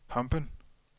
Hampen